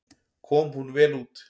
Kom hún vel út.